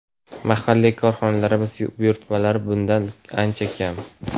mahalliy korxonalarimiz buyurtmalari bundan ancha kam.